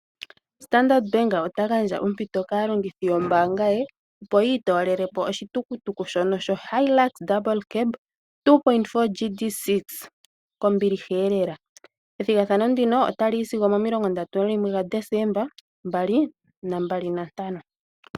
Standard Bank ota gandja ompito kaalongithi yombaanga ye opo yi itoolelepo oshitukutuku shono sho Hilux yoondunda mbali, 2.4 GD6 kombiliha eelela. Ethigathano ndino ota li yi sigo 31 Desemba 2025.